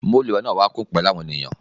Mooluẹ náà wa kun pẹlu awọn ènìyàn.